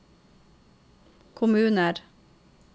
kommuner